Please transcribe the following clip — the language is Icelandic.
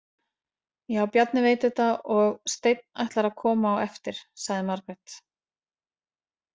Já, Bjarni veit þetta og Steinn ætlar að koma á eftir, sagði Margrét.